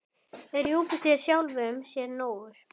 Er Júpíter sjálfum sér nógur?